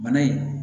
Bana in